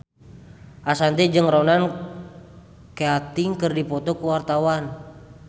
Ashanti jeung Ronan Keating keur dipoto ku wartawan